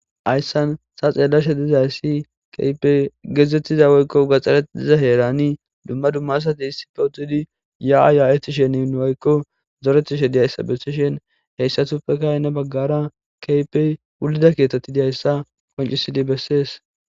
Hayssan ta xeellashe dizayssi keehippe gezzettiza woykko gaxaretiza heeran dumma dumma asati dumma dumma asati issippe uttidi yaa7a yaa7ettishenne aykko zorettishe diyayssa bessishin hessatuppeka heni baggaara keehippe wullidi diya keethi bessees.